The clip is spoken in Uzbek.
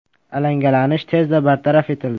Alangalanish tezda bartaraf etildi.